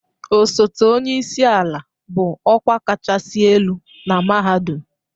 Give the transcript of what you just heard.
Osote onye isi ala bụ ọkwa kachasị elu na mahadum